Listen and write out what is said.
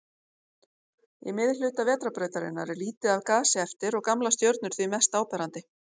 Í miðhluta Vetrarbrautarinnar er lítið af gasi eftir og gamlar stjörnur því mest áberandi.